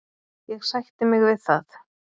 Ég sætti mig við það.